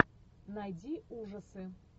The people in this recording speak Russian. найди ужасы